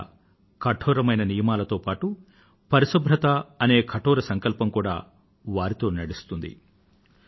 అక్కడ కఠోరమైన నియమాలతో పాటూ పరిశుభ్రత అనే కఠోర సంకల్పం కూడా వారితో నడుస్తుంది